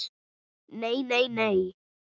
Nei, nei, nei!